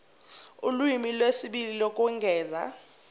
ulimi lwesibili lokwengeza